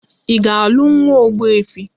Ị ga-alụ nwa ogbuefi!